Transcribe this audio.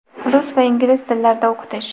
rus va ingliz tillarida o‘qitish.